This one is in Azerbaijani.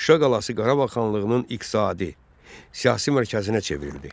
Şuşa qalası Qarabağ xanlığının iqtisadi, siyasi mərkəzinə çevrildi.